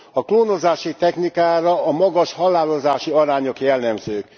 A klónozási technikára a magas halálozási arányok jellemzők.